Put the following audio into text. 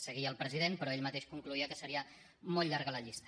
seguia el president però ell mateix concloïa que seria molt llarga la llista